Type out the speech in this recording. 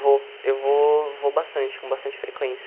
Vou, eu vou vou bastante, com bastante frequência.